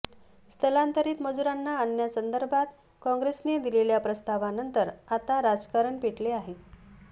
स्थलांतरित मजुरांना आणण्यासंदर्भात काँग्रेसने दिलेल्या प्रस्तावानंतर आता राजकारण पेटले आहे